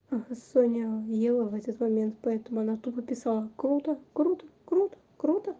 а соня ела в этот момент поэтому она тупо писала круто круто круто круто